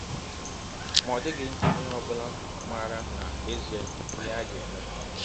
Ma ọ dịghị onye ọ bụla maara n’ezie ihe a ga - eme.